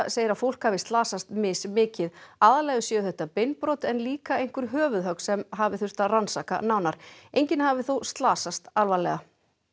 segir að fólk hafi slasast mismikið aðallega séu þetta beinbrot en líka einhver höfuðhögg sem hafi þurft að rannsaka nánar enginn hafi þó slasast alvarlega